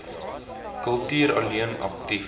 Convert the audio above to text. kultuur alleen aktief